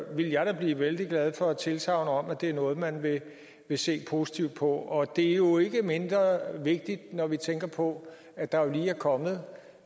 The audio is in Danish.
ville jeg da blive vældig glad for et tilsagn om at det er noget man vil se positivt på og det er jo ikke mindre vigtigt når vi tænker på at der lige er kommet